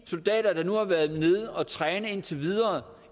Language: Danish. soldater der nu har været nede og træne indtil videre